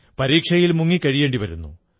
പരീക്ഷയിൽ മുങ്ങി കഴിയേണ്ടി വരുന്നു